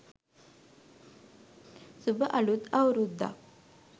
suba aluth auruddak